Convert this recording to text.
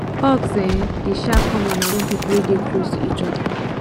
hugs um dey um common among pipo wey dey close to each oda